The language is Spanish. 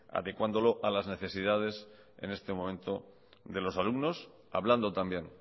adecuándolo a las necesidades en este momento de los alumnos hablando también